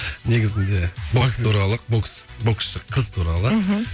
негізінде бокс туралы бокс боксшы қыз туралы мхм